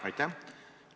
Aitäh!